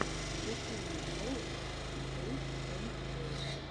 включи мне шоу джулз энд пол